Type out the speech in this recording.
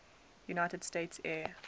united states air